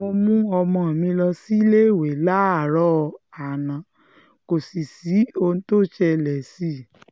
mo mú ọmọ mi lọ síléèwé láàárọ̀ àná kò sì sí ohun tó ṣẹlẹ̀ sí i